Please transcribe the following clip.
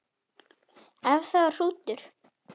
Ef það var hrútur.